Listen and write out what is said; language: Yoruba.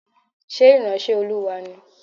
Ṣé ìránṣẹ́ Olúwa ni?